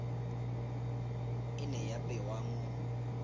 e ne ya bewa mo